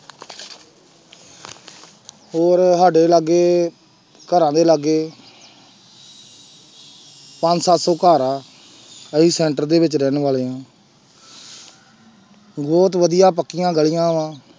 ਹੋਰ ਸਾਡੇ ਲਾਗੇ ਘਰਾਂ ਦੇ ਲਾਗੇ ਪੰਜ ਸੱਤ ਘਰ ਆ ਅਸੀਂ center ਦੇ ਵਿੱਚ ਰਹਿਣ ਵਾਲੇ ਹਾਂ ਬਹੁਤ ਵਧੀਆ ਪੱਕੀਆਂ ਗਲੀਆਂ ਵਾਂ।